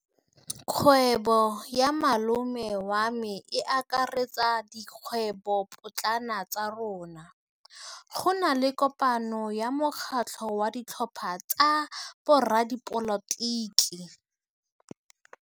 Kgwêbô ya malome wa me e akaretsa dikgwêbôpotlana tsa rona. Go na le kopanô ya mokgatlhô wa ditlhopha tsa boradipolotiki.